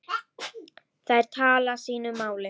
Þær tala sínu máli.